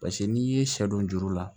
Paseke n'i ye sɛ don juru la